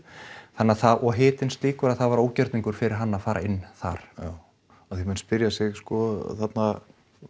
þannig að það og hitinn slíkur að það var ógerningur fyrir hann að fara inn þar já af því að menn spyrja sig sko þarna